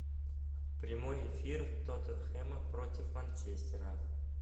прямой эфир тоттенхэма против манчестера